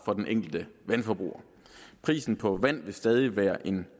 for den enkelte vandforbruger prisen på vand vil stadig være en